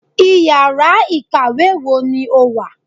íyará ikáwe wọ ní o wá?